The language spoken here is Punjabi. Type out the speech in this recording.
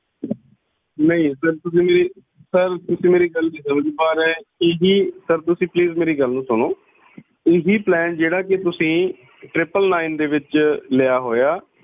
ਨਹੀਂ ਸਰ ਤੁਸੀਂ ਮੇਰੀ ਸਰ ਤੁਸੀਂ ਮੇਰੀ ਗੱਲ ਨੀ ਸਮਝ ਪਾ ਰਹੇ ਸਰ ਤੁਸੀਂ please ਮੇਰੀ ਗੱਲ ਨੂੰ ਸੁਣੋ ਇਹੀ plan ਜਿਹੜਾ ਕਿ ਤੁਸੀਂ tripple nine ਦੇ ਵਿਚ ਲਿਆ ਹੋਇਆ